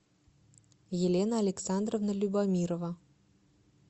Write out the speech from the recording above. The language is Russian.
елена александровна любомирова